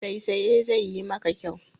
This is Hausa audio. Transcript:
Saisaye zai yi maka kyau.